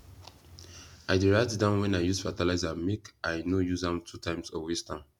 i dey write down when i use fertilizer make i no use am two times or waste am